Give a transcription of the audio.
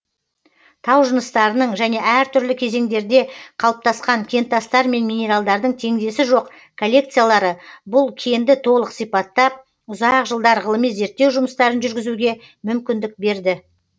тау жыныстарының және әр түрлі кезеңдерде қалыптасқан кентастар мен минералдардың теңдесі жоқ коллекциялары бұл кенді толық сипаттап ұзақ жылдар ғылыми зерттеу жұмыстарын жүргізуге мүмкіндік берді